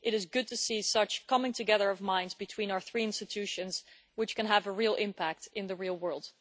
It is good to see such a coming together of minds between our three institutions which can have a real impact in the real world.